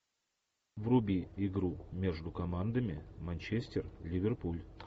вруби игру между командами манчестер ливерпуль